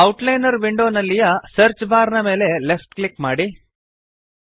outliner ವಿಂಡೋನಲ್ಲಿಯ search bar ನ ಮೇಲೆ ಲೆಫ್ಟ್ ಕ್ಲಿಕ್ ಮಾಡಿರಿ